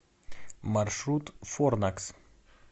маршрут форнакс